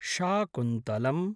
Shakuntalam